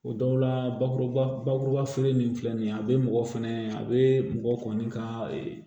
O dɔw la bakuruba bakuruba feere in filɛ nin ye a bɛ mɔgɔ fɛnɛ a bɛ mɔgɔ kɔni ka